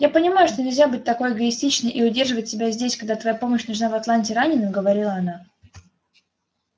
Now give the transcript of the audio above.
я понимаю что нельзя быть такой эгоистичной и удерживать себя здесь когда твоя помощь нужна в атланте раненым говорила она